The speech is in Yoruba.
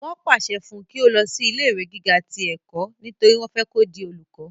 wọ́n pàṣẹ fún un kí ó lọ sí ilé ìwé gíga ti ẹ̀kọ́ nítorí wọ́n fẹ́ kó di olùkọ́